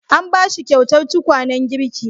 An ba shi kyautar tukwanen girki.